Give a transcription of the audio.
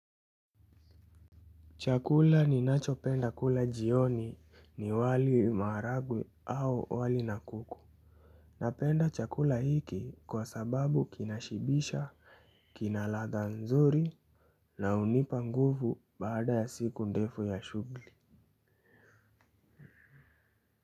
Chakula ninachopenda kula jioni ni wali maharagwe au wali na kuku. Napenda chakula hiki kwa sababu kinashibisha, kina ladha nzuri na hunipa nguvu baada ya siku ndefu ya shughuli.